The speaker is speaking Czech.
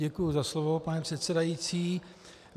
Děkuji za slovo, pane předsedající.